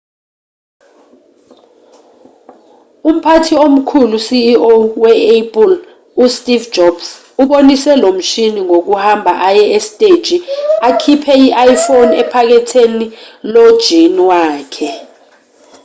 umphathi omkhulu ceo we-apple usteve jobs ubonise lomshini ngokuhamba aye esiteji akhiphe i-iphone ephaketheni lojini wakhe